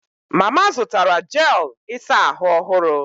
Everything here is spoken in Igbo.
Mama zụtara jel ịsa ahụ ọhụrụ